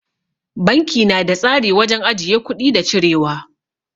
Banki na da tsari wajen ajiye kuɗi da cirewa.